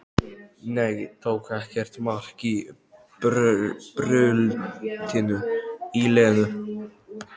Nei, tók ekkert mark á bröltinu í Lenu.